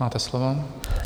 Máte slovo.